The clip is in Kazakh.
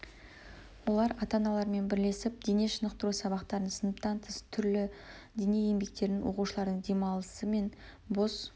олар ата аналармен бірлесіп дене шынықтыру сабақтарын сыныптан тыс түрлі дене еңбектерін оқушылардың демалысы мен бос